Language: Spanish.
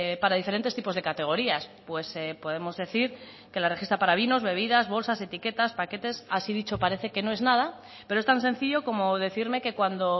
para diferentes tipos de categorías pues podemos decir que la registra para vinos bebidas bolsas etiquetas paquetes así dicho parece que no es nada pero es tan sencillo como decirme que cuando